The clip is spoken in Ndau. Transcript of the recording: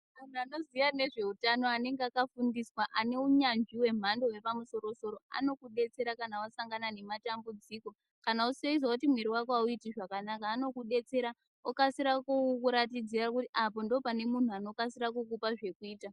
Antu anoziya ngezveutano, anenge akafundiswa ane hunyanzvi hwemhando yepamusoro, anokudetsera kana wasangana nematambudziko, kana uchiziya kuti mwiri wako hauiti zvakanaka anokudetsera okasira kukuratidza kuti apo ndipo pane muntu anokwanisa kukupa zvekuita.